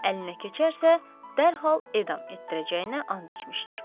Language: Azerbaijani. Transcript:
Əlinə keçərsə, dərhal edam etdirəcəyinə and içmişdir.